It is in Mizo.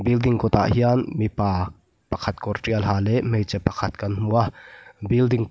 building kawtah hian mipa pakhat kawr ṭial ha leh hmeichhe pakhat kan hmu a building --